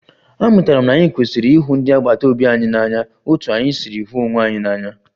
Amụtara m na anyị kwesịrị ịhụ ndị agbata obi anyị n'anya otú anyị si hụ onwe anyị n'anya